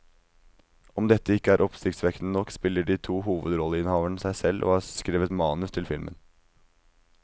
Om dette ikke er oppsiktsvekkende nok, spiller de to hovedrolleinnehaverne seg selv og har skrevet manus til filmen.